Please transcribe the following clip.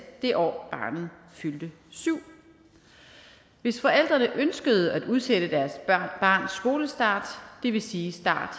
det år barnet fyldte syv år hvis forældrene ønskede at udsætte deres barns skolestart det vil sige start